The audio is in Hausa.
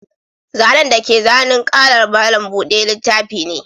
Zane dake zanin ƙalar malam buɗe littafi ne.